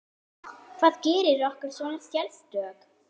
Hvað gerir okkur svona sérstök?